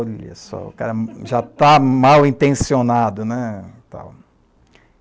Olha só, o cara já está mal intencionado, né?